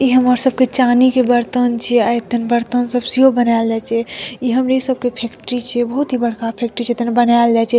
ई हमर सब के चाँदी के बर्तन छे अ एतन बर्तन सब बनालै छे ई हमरी सब के फैक्ट्री छे बहुत ही बड़का फैक्ट्री छे तने बनाएल जाए छे।